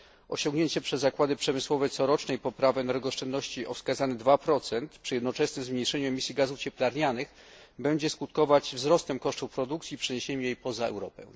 Osiągnięcie przez zakłady przemysłowe corocznej poprawy energooszczędności o wskazaniu 2 przy jednoczesnym zmniejszeniu emisji gazów cieplarnianych będzie skutkować wzrostem kosztów produkcji i przeniesieniem jej poza Europę.